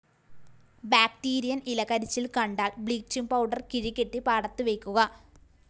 ബാക്ടീരിയന്‍ ഇലകരിച്ചില്‍ കണ്ടാല്‍ bleaching powder കിഴികെട്ടി പാടത്തു വയ്ക്കുക